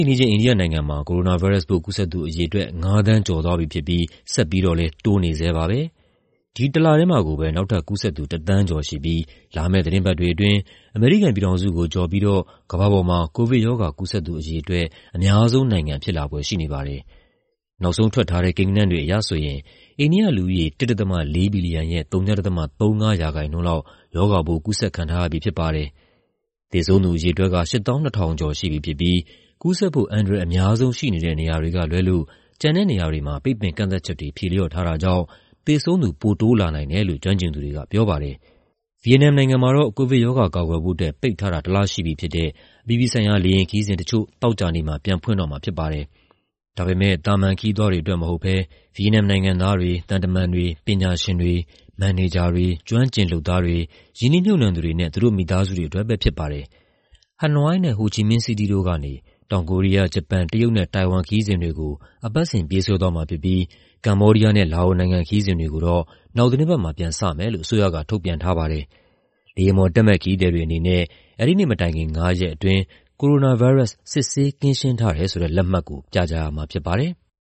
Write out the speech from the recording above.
င်း အိန္ဒိယနိုင်ငံမှာ ကိုရိုနာဗိုင်းရပ်စ်ပိုး ကူးစက်သူအရေအတွက် ၅,၀၀၀,၀၀၀ ကျော်သွားပြီဖြစ်ပြီး ဆက်ပြီးတော့လည်း တိုးနေဆဲပါပဲ။ ဒီတလထဲမှာကိုပဲ နောက်ထပ်ကူးစက်သူ ၁,၀၀၀,၀၀၀ ကျော်ရှိပြီး လာမယ့်သီတင်းပတ်တွေအတွင်း အမေရိကန်ပြည်ထောင်စုကိုကျော်ပြီး ကမ္ဘာပေါ်မှာ ကိုဗစ်ရောဂါ ကူးစက်သူအရေအတွက် အများဆုံးနိုင်ငံဖြစ်လာဖွယ်ရှိနေပါတယ်။ နောက်ဆုံးထွက်ထားတဲ့ ကိန်းဂဏန်းတွေအရဆိုရင် အိန္ဒိယလူဦးရေ ၁.၄ ဘီလီယံရဲ့ ဝ.၃၅ ရာခိုင်နှုန်းလောက် ရောဂါပိုး ကူးစက်ခံထားရပြီဖြစ်ပါတယ်။ သေဆုံးသူအရေအတွက်က ၈၂,၀၆၆ ရှိပြီဖြစ်ပြီး ကူးစက်ဖို့ အန္တရာယ်အများဆုံးရှိနေတဲ့ နေရာတွေကလွဲလို့ ကျန်တဲ့နေရာတွေမှာ ပိတ်ပင်ကန့်သတ်ချက်တွေ ဖြေလျော့ထားတာကြောင့် သေဆုံးသူ ပိုတိုးလာနိုင်တယ်လို့ ကျွမ်းကျင်သူတွေကပြောပါတယ်။ ဗီယက်နမ်နိုင်ငံမှာတော့ ကိုဗစ်ကပ်ရောဂါ ကာကွယ်ဖို့အတွက် ပိတ်ထားတာ ၁ လရှိပြီဖြစ်တဲ့ အပြည်ပြည်ဆိုင်ရာ လေယာဉ်ခရီးစဉ်တချို့ သောကြာနေ့မှာ ပြန်ဖွင့်တော့မှာဖြစ်ပါတယ်။ ဒါပေမဲ့ သာမန်ခရီးသွားတွေအတွက် မဟုတ်ဘဲ ဗီယက်နမ်နိုင်ငံသားတွေ၊ သံတမန်တွေ၊ ကျွမ်းကျင်သူတွေ၊ မန်နေဂျာတွေ၊ ကျွမ်းကျင်လုပ်သားတွေ၊ ရင်းနှီးမြှုုပ်နှံသူတွေနဲ့ သူတို့မိသားစုတွေအတွက်ပဲဖြစ်ပါတယ်။ ဟနွိုင်းနဲ့ ဟိုချီမင်းစီးတီးတို့ကနေ တောင်ကိုရီးယား၊ ဂျပန်၊ တရုတ်နဲ့ တိုင်ဝမ်ခရီးစဉ်တွေကို အပတ်စဉ် ပြေးဆွဲသွားမှာဖြစ်ပြီး ကမ္ဘောဒီးယားနဲ့ လာအိုနိုင်ငံ ခရီးစဉ်တွေကို နောက်သီတင်းပတ်မှာ ပြန်စမယ်လို့ အစိုးရက ထုတ်ပြန်ထားပါတယ်။ လေယာဉ်ပေါ်တက်မယ့် ခရီးသည်တွေအနေနဲ့ အဲဒီနေ့မတိုင်ခင် ငါးရက်အတွင်း ကိုရိုနာဗိုင်းရပ်စ် စစ်ဆေး ကင်းရှင်းထားတယ်ဆိုတဲ့ လက်မှတ်ကို ပြရမှာဖြစ်ပါတယ်။